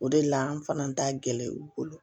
O de la an fana t'a gɛlɛya u bolo